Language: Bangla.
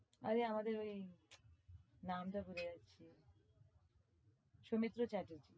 আমাদের ওই নামটা ভুলে যাচ্ছি সৌমিত্র চ্যাটার্জি।